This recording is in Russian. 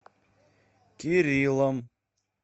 кириллом